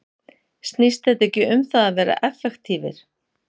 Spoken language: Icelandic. Snýst þetta ekki um það að vera effektívir?